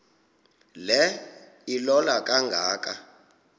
le ilola kangaka